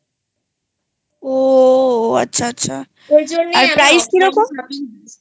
ও আচ্ছা আচ্ছা আরprice কিরকম ?